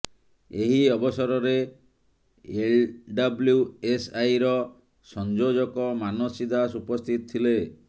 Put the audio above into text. ଏହି ଅବସରରେ ଏଲ୍ଡବ୍ଲ୍ୟୁଏସ୍ଆଇର ସଂଯୋଜକ ମାନସୀ ଦାସ ଉପସ୍ଥିତ ଥିଲେ